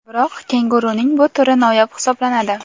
Biroq kenguruning bu turi noyob hisoblanadi.